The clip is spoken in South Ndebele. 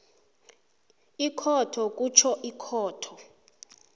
ikhotho kutjho ikhotho